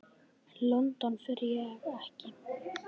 En London fer ekki.